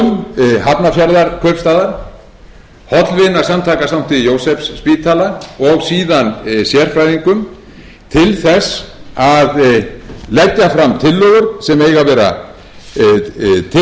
er nefnd fulltrúum hafnarfjarðarkaupstaðar hollvinasamtaka sankti jósefsspítala og síðan sérfræðingum til þess að leggja fram tillögur sem eiga